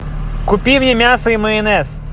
купи мне мясо и майонез